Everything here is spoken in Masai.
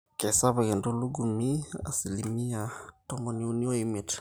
keisapuk entulugumi 35%